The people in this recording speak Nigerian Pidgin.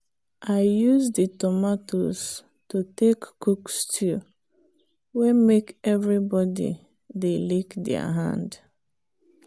i use the tomatoes to take cook stew way make everybody they lick their hand.